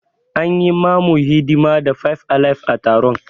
An yi mamu hidima da five alive a taron.